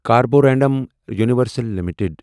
Carborundum Universal limited